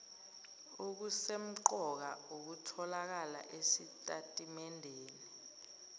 okusemqoka okutholakala esitatimendeni